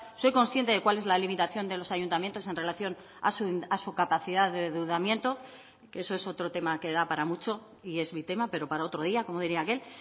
soy consciente de cuál es la limitación de los ayuntamientos en relación a su capacidad de endeudamiento que eso es otro tema que da para mucho y es mi tema pero para otro día como diría aquel